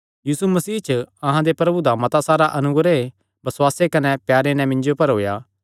यीशु मसीह च अहां दे प्रभु दा मता सारा अनुग्रह बसुआसे कने प्यारे नैं मिन्जो पर होएया